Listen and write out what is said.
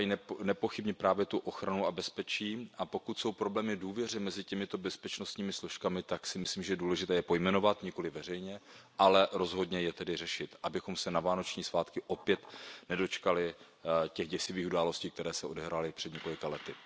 Očekávají nepochybně právě ochranu a bezpečí. Pokud jsou problémy v důvěře mezi těmito bezpečnostními složkami, myslím si, že je důležité je pojmenovat, nikoliv veřejně, ale rozhodně je tedy řešit, abychom se na vánoční svátky opět nedočkali těch děsivých událostí, které se odehrály před několika lety.